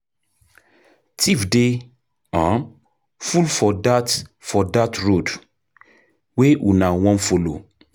Tiffs dey full for dat road wey una wan folo.